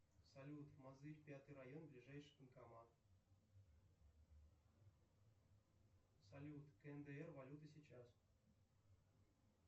салют мозырь пятый район ближайший банкомат салют кндр валюта сейчас